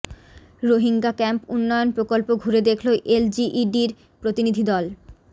Rohingya camp উন্নয়ন প্রকল্প ঘুরে দেখল এলজিইডির প্রতিনিধি দল